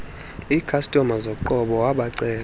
ikhastoma zoqobo wabacela